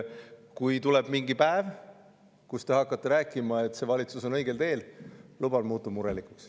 Kui tuleb mingi päev, kui te hakkate rääkima, et see valitsus on õigel teel, luban, muutun murelikuks.